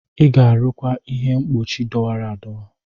Ị ga-arụkwa ihe mkpuchi dọwara adọwa!